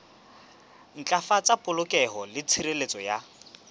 ntlafatsa polokeho le tshireletso ya